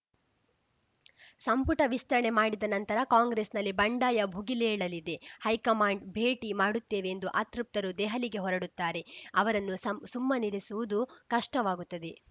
ಸಂಪುಟ ವಿಸ್ತರಣೆ ಮಾಡಿದ ನಂತರ ಕಾಂಗ್ರೆಸ್‌ನಲ್ಲಿ ಬಂಡಾಯ ಭುಗಿಲೇಳಲಿದೆ ಹೈಕಮಾಂಡ್‌ ಭೇಟಿ ಮಾಡುತ್ತೇವೆಂದು ಅತೃಪ್ತರು ದೆಹಲಿಗೆ ಹೊರಡುತ್ತಾರೆ ಅವರನ್ನು ಸಮ್ಮ ಸುಮ್ಮನಿರಿಸುವುದು ಕಷ್ಟವಾಗುತ್ತದೆ